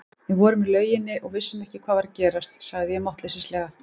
Við vorum í lauginni og vissum ekki hvað var að gerast, sagði ég máttleysislega.